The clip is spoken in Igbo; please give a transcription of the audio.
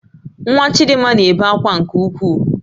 Nwa Chidimma na-ebe akwa nke ukwuu